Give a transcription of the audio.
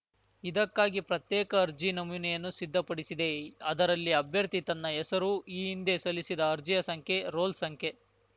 ಇದಕ್ಕಾಗಿ ಪ್ರತ್ಯೇಕ ಅರ್ಜಿ ನಮೂನೆಯನ್ನು ಸಿದ್ಧಪಡಿಸಿದೆ ಅದರಲ್ಲಿ ಅಭ್ಯರ್ಥಿ ತನ್ನ ಹೆಸರು ಈ ಹಿಂದೆ ಸಲ್ಲಿಸಿದ ಅರ್ಜಿಯ ಸಂಖ್ಯೆ ರೋಲ್‌ ಸಂಖ್ಯೆ